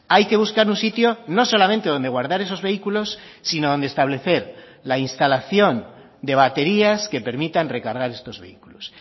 hay que buscar un sitio no solamente donde guardar esos vehículos sino donde establecer la instalación de baterías que permitan recargar estos vehículos